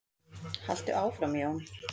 Haltu áfram Jón!